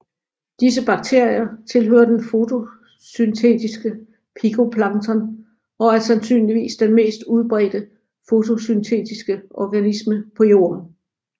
Disse bakterier tilhører den fotosyntetiske picoplankton og er sandsynligvis den mest udbredte fotosyntetiske organisme på Jorden